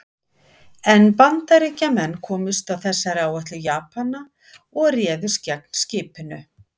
En Bandaríkjamenn komust að þessari áætlun Japana og réðust gegn skipinu.